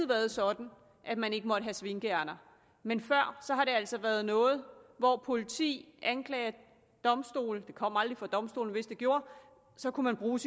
været sådan at man ikke måtte have svinkeærinder men før har det altså være noget hvor politi anklager og domstole det kom aldrig for domstolene men hvis det gjorde kunne bruge